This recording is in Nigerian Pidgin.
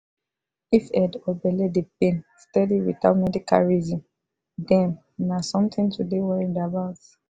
if head or belle dey pain steady without medical reason dem na something to dey worried about.